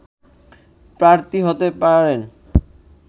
প্রার্থী হতে পারেন